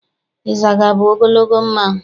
Ịzaga bụ ogologo mmanụ.